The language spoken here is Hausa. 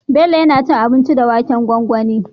Bello yAna cin abinci da waken gwangwani